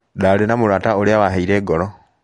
Ndarĩ na mũrata ũrĩa waheire ngoro.